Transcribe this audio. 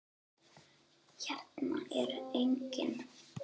Hérna er enginn.